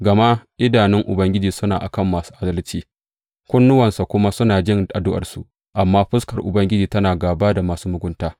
Gama idanun Ubangiji suna a kan masu adalci kunnuwansa kuma suna jin addu’arsu, amma fuskar Ubangiji tana gāba da masu mugunta.